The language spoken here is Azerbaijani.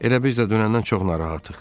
Elə biz də dünəndən çox narahatıq.